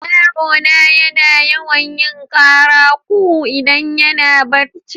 Yaro na yana yawan yin karan coo idan yana barci.